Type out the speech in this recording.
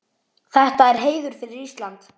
Þetta er heiður fyrir Ísland.